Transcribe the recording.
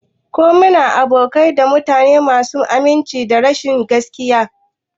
Ko muna abokantaka da mutane masu aminci da rashin gaskiya?